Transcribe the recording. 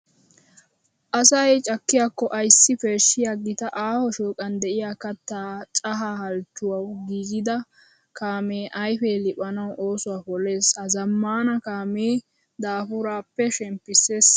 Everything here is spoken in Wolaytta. Asay cakkiyakko ayssi peeshshiya gita aaho shooqan de'iya kattaa cahaa halchchuwawu giigida kaamee ayfee liphanawu oosuwa polees. Ha zammaana kaamee daafuraappe shemppissis.